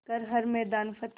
कर हर मैदान फ़तेह